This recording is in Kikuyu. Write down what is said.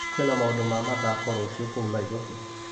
Kwĩna maũndũ ma mathako rũciũ kũu Naĩrobĩ .